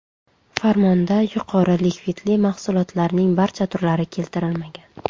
Farmonda yuqori likvidli mahsulotlarning barcha turlari keltirilmagan.